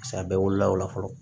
Paseke a bɛɛ wolola o la fɔlɔ